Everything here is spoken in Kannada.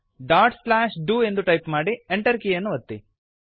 ಡಾಟ್ ಸ್ಲ್ಯಾಶ್ ಡು ಎಂದು ಟೈಪ್ ಮಾಡಿ Enter ಕೀಯನ್ನು ಒತ್ತಿ